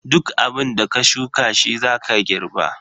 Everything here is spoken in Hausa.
Duk abunda ka shuka shi zaka girba.